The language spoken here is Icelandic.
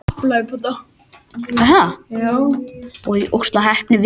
Mér fannst það hljóta að vera aðrir hlutir þarna úti fyrir mig.